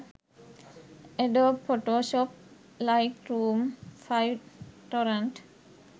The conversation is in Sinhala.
adobe photoshop lightroom 5 torrent